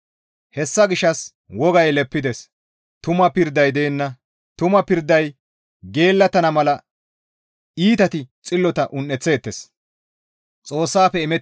Hessa gishshas wogay leppides; tuma pirday deenna; tuma pirday geellattana mala iitati xillota un7eththeettes.